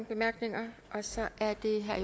bemærkninger så er det herre